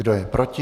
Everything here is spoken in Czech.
Kdo je proti?